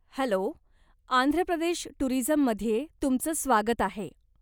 Hello, Andhra Pradesh टूरिझममध्ये तुमचं स्वागत आहे.